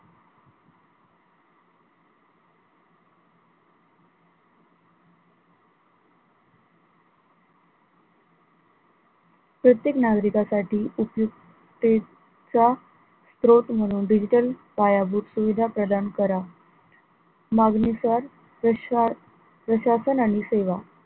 प्रत्येक नागरिकांसाठी उपयुक्तेचा स्रोत म्हणून digital पायाभूत सुविधा प्रदान करा मागणीनुसार प्रशा प्रशासन आणि सेवा,